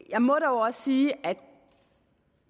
jeg må dog også sige at